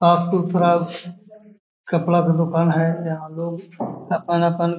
थोड़ा कपड़ा का दुकान है यहां लोग अपन-अपन --